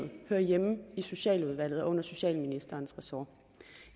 hører hjemme i socialudvalget og under socialministerens ressort